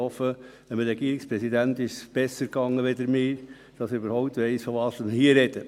Ich hoffe, dem Regierungspräsidenten ist es besser ergangen als mir, damit er überhaupt weiss, wovon wir hier reden.